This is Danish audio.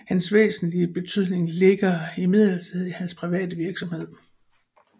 Hans væsentlige betydning ligger imidlertid i hans private virksomhed